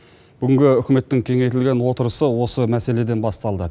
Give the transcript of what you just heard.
бүгінгі үкіметтің кеңейтілген отырысы осы мәселеден басталды